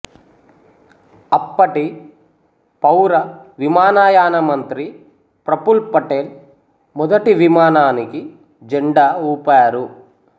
అప్పటి పౌర విమానాయాన మంత్రి ప్రఫుల్ పటేల్ మొదటి విమానానికి జెండా ఊపారు